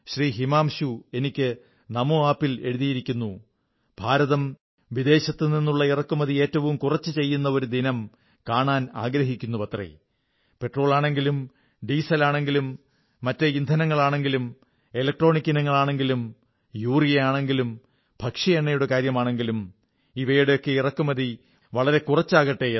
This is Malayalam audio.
ഹിമാംശു എനിക്ക് നമോ ആപ് ൽ എഴുതിയിരിക്കുന്നു ഭാരതം വിദേശത്തുനിന്നുള്ള ഇറക്കുമതി ഏറ്റവും കുറച്ച് ചെയ്യുന്ന ഒരു ദിനം കാണാനാഗ്രഹിക്കുന്നുവത്രേ പെട്രോളാണെങ്കിലും ഡീസലാണെങ്കിലും ഇന്ധനങ്ങളാണെങ്കിലും ഇലക്ട്രോണിക് ഇനങ്ങളാണെങ്കിലും യൂറിയ ആണെങ്കിലും ഭക്ഷ്യ എണ്ണയുടെ കാര്യമാണെങ്കിലും ഇവയുടെ ഒക്കെ ഇറക്കുമതി വളരെ കുറച്ചാകട്ടെ എന്ന്